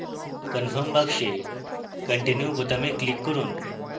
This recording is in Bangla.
confirm box continue বোতামে click করুন